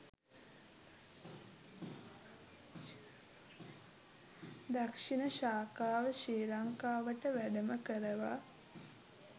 දක්‍ෂිණ ශාඛාව ශ්‍රී ලංකාවට වැඩම කරවා